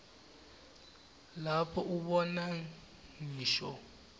lapho ubona ngisho